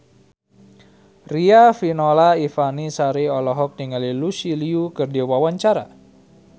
Riafinola Ifani Sari olohok ningali Lucy Liu keur diwawancara